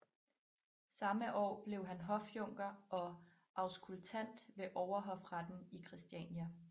Samme år blev han hofjunker og auskultant ved Overhofretten i Christiania